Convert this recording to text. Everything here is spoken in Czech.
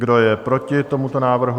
Kdo je proti tomuto návrhu?